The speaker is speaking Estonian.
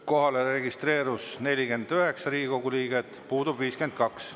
Kohale registreerus 49 Riigikogu liiget, puudub 52.